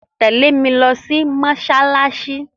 Tẹ̀lé mi lo sí mósálásí